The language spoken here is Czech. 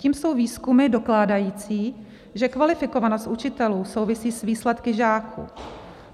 Tím jsou výzkumy dokládající, že kvalifikovanost učitelů souvisí s výsledky žáků.